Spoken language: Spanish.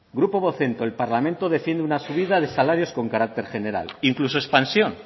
grupo vocento el parlamento defiende una subida de salarios con carácter general incluso expansión